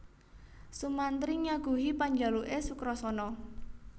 Sumantri nyaguhi panjaluke Sukrasana